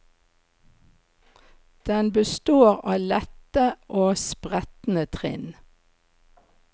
Den består av lette og spretne trinn.